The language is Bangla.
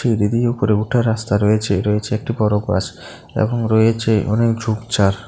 সিঁড়ি দিয়ে উপরে উঠার রাস্তা রয়েছে রয়েছে একটি বড় গাছ এবং রয়েছে অনেক ঝোপঝাড়।